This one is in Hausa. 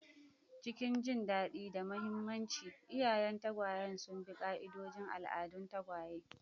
Cikin jin daɗi da mahimmanci, iyayen tagwayen sun bi ƙa'idodin al'adun tagwaye